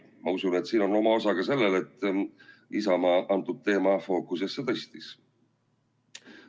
Ma usun, et siin on oma osa ka sellel, et Isamaa selle teema fookusesse tõstis.